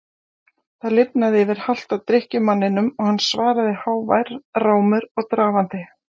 Það lifnaði yfir halta drykkjumanninum og hann svaraði hávær rámur og drafandi